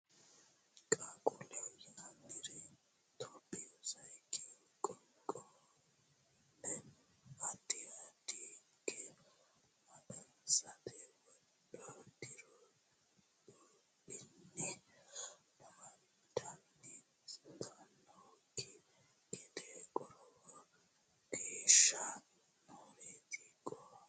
Qaaqquulleho yinanniri Itophiyu Sayikkihu qaaqquulleho addi addi higge mangiste wodho diri dhibbinni amadantannokki gede qorowo geeshsha nooreeti Qaaqquulleho yinanniri Qaaqquulleho.